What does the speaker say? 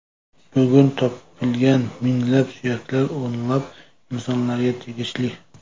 Bugun topilgan minglab suyaklar o‘nlab insonlarga tegishli.